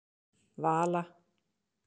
Vala